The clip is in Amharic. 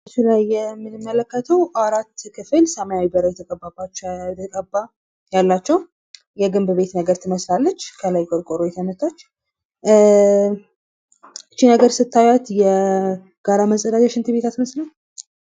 ምስሉ ላይ የምንመለከተው አራት ክፍል ሰማይ በር የተቀባ ያላቸው የግንብ ቤት ነገር ትመስላለች። ከላይ ቆርቆሮ የተመታች እ. . ይች ነገር ስታያት የጋራ መፀዳጃ ሽንት ቤት አትመስልም።